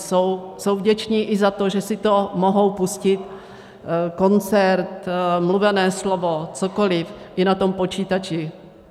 Jsou vděční i za to, že si to mohou pustit, koncert, mluvené slovo, cokoliv, i na tom počítači.